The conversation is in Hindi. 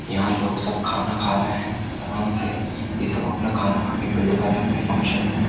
यहां लोग सब खाना खा रहे हैं मन से ये सब अपना खाना खाके पेट भर है कोई फंक्शन में --